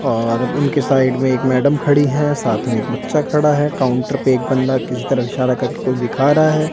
और उनके साइड में एक मैडम खड़ी हैं साथ में एक बच्चा खड़ा है काउंटर पे एक बंदा किसी तरफ इशारा करके कुछ दिखा रहा है।